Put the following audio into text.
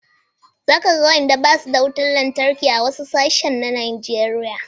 Za ka ga wadanda ba su da wutar lantarki a wasu sassan Najeriya